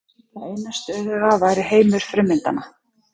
Það eina stöðuga væri heimur frummyndanna.